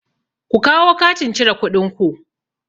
Ku kawo katin cire kuɗin ku!